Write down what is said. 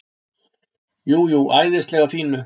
Jú, jú, æðislega fínu.